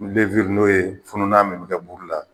n'o ye fununan min bɛ kɛ buru la